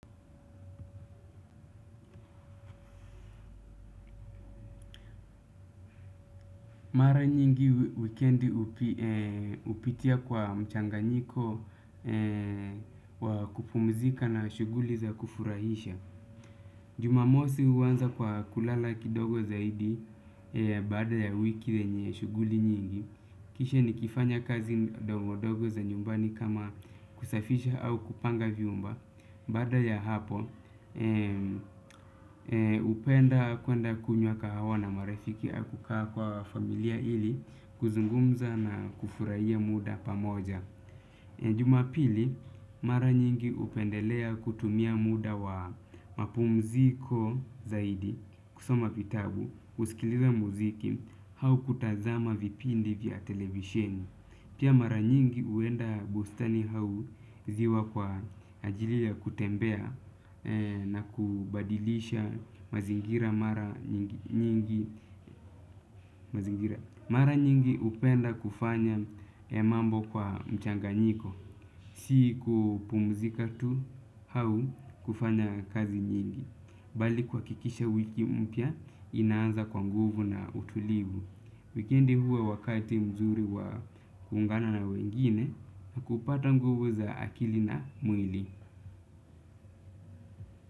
Mara nyingi weekendi hupitia kwa mchanganyiko wakupumzika na shuguli za kufurahisha. Jumamosi huanza kwa kulala kidogo zaidi baada ya wiki yenye shuguli nyingi. Kishe ni kifanya kazi dogo dogo za nyumbani kama kusafisha au kupanga vyumba. Bada ya hapo, hupenda kwenda kunywa kahawa na marifiki hakukaa kwa familia ili kuzungumza na kufuraiya muda pamoja. Jumapili, mara nyingi hupendelea kutumia muda wa mapumziko zaidi kusoma vitabu, kusikiliza muziki, hau kutazama vipindi vya televisheni. Pia mara nyingi huenda bustani hau ziwa kwa ajili ya kutembea na kubadilisha mazingira mara nyingi. Mara nyingi upenda kufanya emambo kwa mchanga nyiko. Siku pumuzika tu hau kufanya kazi nyingi. Bali kuhakikisha wiki mpya inaanza kwa nguvu na utulivu. Wikendi huwa wakati mzuri wa kuungana na wengine na kupata nguvu za akili na mwili.